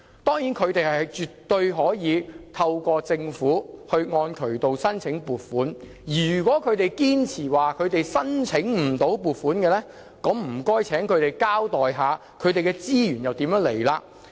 當然，他們絕對可按渠道向政府申請撥款，如果他們堅持自己申請不到撥款，那就請他們交代一下資源從何而來？